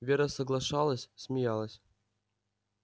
вера соглашалась смеялась